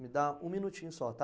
Me dá um minutinho só, tá?